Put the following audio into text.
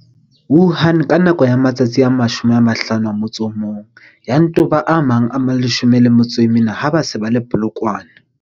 Wuhan ka nako ya matsatsi a 51, ya nto ba a mang a 14 ha ba se ba le Polokwane.